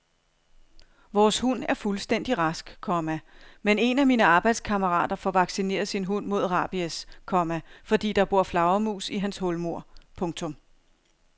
Vores hund er fuldstændig rask, komma men en af mine arbejdskammerater får vaccineret sin hund mod rabies, komma fordi der bor flagermus i hans hulmur. punktum